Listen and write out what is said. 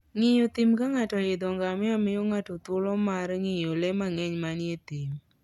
Ng'iyo thim ka ng'ato oidho ngamia miyo ng'ato thuolo mar ng'iyo le mang'eny manie thim.